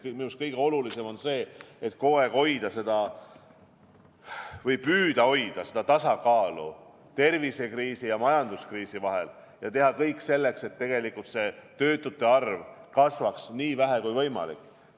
Nii et kõige olulisem on minu arvates kogu aeg püüda hoida seda tasakaalu tervisekriisi ja majanduskriisi vahel ning teha kõik selleks, et tegelikult see töötute arv kasvaks nii vähe kui võimalik.